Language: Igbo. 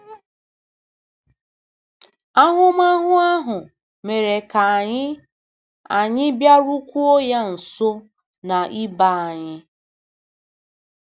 Ahụmahụ ahụ mere ka anyị anyị bịarukwuo ya nso na ibe anyị. ”